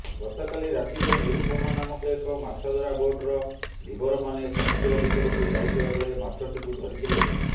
ଗତକାଲି ରାତିରେ ନିରୁପମା ନାମକ ଏକ ମାଛଧରା ବୋଟର ଧୀବରମାନେ ସମୁଦ୍ର ଭିତରକୁ ଯାଇଥିବା ବେଳେ ମାଛଟିକୁ ଧରିଥିଲେ